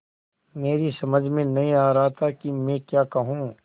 मेरी समझ में नहीं आ रहा था कि मैं क्या कहूँ